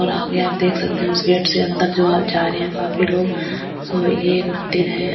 और आगे आप देख सकते हैं उस गेट से अंदर जो जा रहे हैंकाफी लोग सो ये मंदिर है।